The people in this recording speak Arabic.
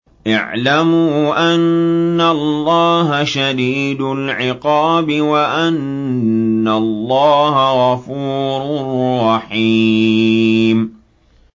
اعْلَمُوا أَنَّ اللَّهَ شَدِيدُ الْعِقَابِ وَأَنَّ اللَّهَ غَفُورٌ رَّحِيمٌ